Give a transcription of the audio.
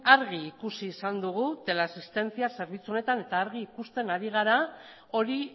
argi ikusi izan dugu teleasistencia zerbitzu honetan eta argi ikusten ari gara hori